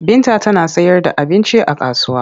Binta tana sayarda abinci a kasuwa.